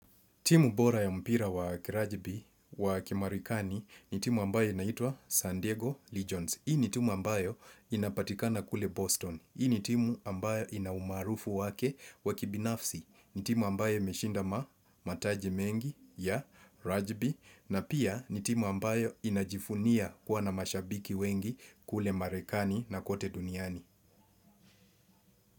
Timu bora ya mpira wa kirajibi wa kimarikani ni timu ambayo inaitua San Diego Legions. Hii ni timu ambayo inapatikana kule Boston. Hii ni timu ambayo inaumarufu wake wakibinafsi. Ni timu ambayo meshinda mataji mengi ya rajibi. Na pia ni timu ambayo inajifunia kuwa na mashabiki wengi kule marekani na kote duniani.